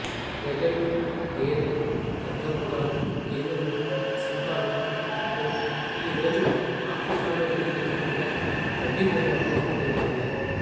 గజెలు గేదె ఖడ్గమృగాలు ఏనుగులు సింహాలు హిప్పో ఈ రోజు ఆఫ్రికాలో తిరుగుతున్నట్లుగా గడ్డి భూములలో తిరుగుతున్నాయి